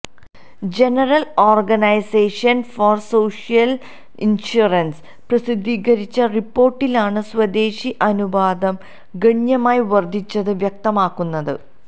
general organisation for social insurance പ്രസിദ്ധീകരിച്ച റിപ്പോര്ട്ടിലാണ് സ്വദേശി അനുപാതം ഗണ്യമായി വര്ധിച്ചത് വ്യക്തമാക്കുന്നത്